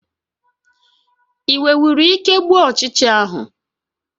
Ị nwenwuru ike gbuo ụchịcha ahụ?